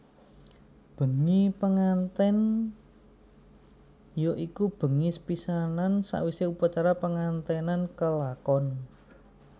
Bengi pengantèn ya iku bengi sepisanan sawisé upacara penganténan kelakon